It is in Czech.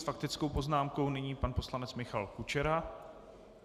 S faktickou poznámkou nyní pan poslanec Michal Kučera.